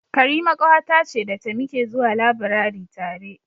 Karima ƙawata ce da ta muke zuwa labirari tare.